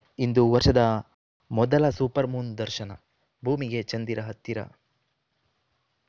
ಇಂದು ವರ್ಷದ ಮೊದಲ supermoon ದರ್ಶನ ಭೂಮಿಗೆ ಚಂದಿರ ಹತ್ತಿರ